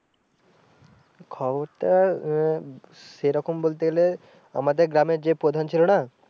খবরটা আহ সে রকম বলতে গেলে আমাদের গ্রামের যে প্রধান ছিল না।